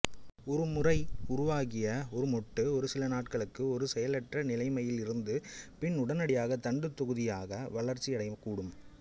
ஒருமுறை உருவாகிய ஒரு மொட்டு ஒரு சில நாட்களுக்கு ஒரு செயலற்ற நிலைமையில் இருந்து பின் உடனடியாக தண்டுத்தொகுதியாக வளர்ச்சியடையக்கூடும்